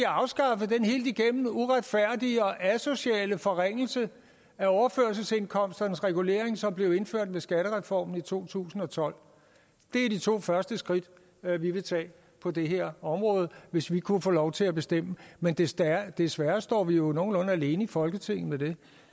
afskaffet den helt igennem uretfærdige og asociale forringelse af overførselsindkomsternes regulering som blev indført med skattereformen i to tusind og tolv det er de to første skridt vi ville tage på det her område hvis vi kunne få lov til at bestemme men desværre desværre står vi jo nogenlunde alene i folketinget